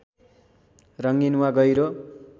रङ्गीन वा गहिरो